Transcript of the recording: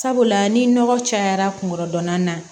Sabula ni nɔgɔ cayara kun kɔrɔdɔnan na